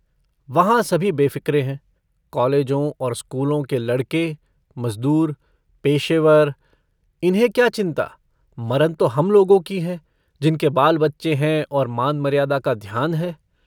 वहाँ सभी बेफ़िक्रे हैं कालेजों और स्कूलों के लड़के मजदूर पेशेवर इन्हें क्या चिन्ता मरन तो हम लोगों की है जिनके बालबच्चे हैं और मानमर्यादा का ध्यान है।